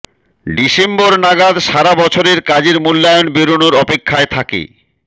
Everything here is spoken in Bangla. ডিসেম্বর নাগাদ সারা বছরের কাজের মূল্যায়ন বেরোনোর অপেক্ষায় থাকে